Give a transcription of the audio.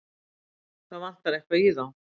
Það vantar eitthvað í þá.